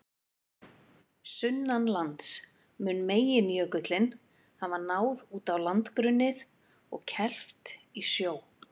Sunnanlands mun meginjökullinn hafa náð út á landgrunnið og kelft í sjó.